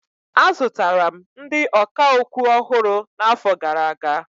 Azụtara m ndị ọkà okwu ọhụrụ n'afọ gara aga.